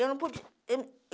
Eu não podia. Eu